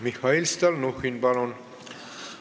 Mihhail Stalnuhhin, palun!